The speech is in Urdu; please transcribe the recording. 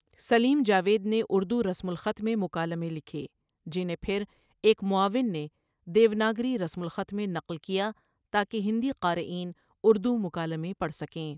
سلیم جاوید نے اردو رسم الخط میں مکالمے لکھے، جنہیں پھر ایک معاون نے دیوناگری رسم الخط میں نقل کیا تاکہ ہندی قارئین اردو مکالمے پڑھ سکیں۔